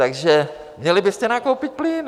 Takže měli byste nakoupit plyn.